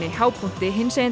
hápunkti hinsegin